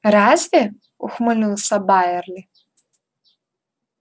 разве ухмыльнулся байерли